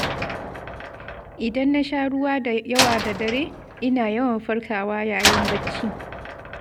Idan na sha ruwa da yawa da dare, ina yawan farkawa yayin bacci.